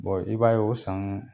i b'a ye o san